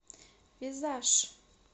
визаж